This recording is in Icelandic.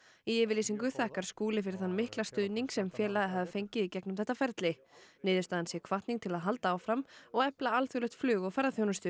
í yfirlýsingu þakkar Skúli fyrir þann mikla stuðning sem félagið hafi fengið í gegnum þetta ferli niðurstaðan sé hvatning til að halda áfram og efla alþjóðlegt flug og ferðaþjónustu